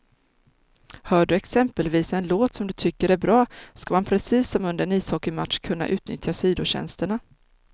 Hör du exempelvis en låt som du tycker är bra, ska man precis som under en ishockeymatch kunna utnyttja sidotjänsterna.